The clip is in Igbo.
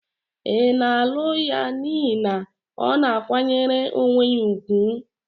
Ị na-alụ ya n'ihi na ọ na-akwanyere onwe ya ùgwù?